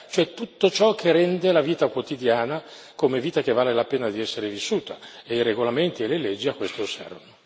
ai certificati di disabilità, cioè tutto ciò che rende la vita quotidiana come vita che vale la pena di essere vissuta.